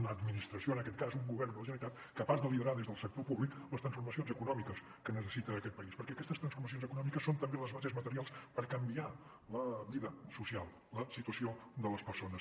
una administració en aquest cas un govern de la generalitat capaç de liderar des del sector públic les transformacions econòmiques que necessita aquest país perquè aquestes transformacions econòmiques són també les bases materials per canviar la vida social la situació de les persones